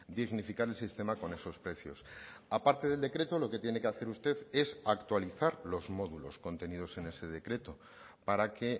dignificar el sistema con esos precios a parte del decreto lo que tiene que hacer usted es actualizar los módulos contenidos en ese decreto para que